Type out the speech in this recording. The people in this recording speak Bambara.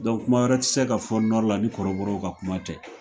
kuma wɛrɛ tɛ se ka fɔ la ni kɔrɔbɔrɔw ka kuma tɛ.